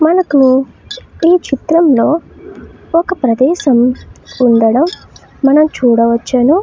మనకు ఈ చిత్రంలో ఒక ప్రదేశం ఉండడం మనం చూడవచ్చును.